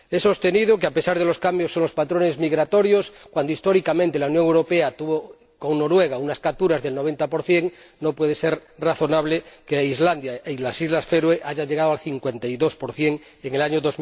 He sostenido que, a pesar de los cambios en los patrones migratorios, si históricamente la Unión Europea tuvo con Noruega unas capturas del 90, no puede ser razonable que Islandia y las Islas Feroe hayan llegado al 52 en el año